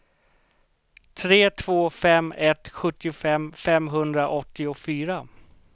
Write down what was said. tre två fem ett sjuttiofem femhundraåttiofyra